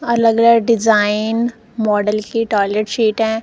अलग अलग design model की टॉयलेट सीटे --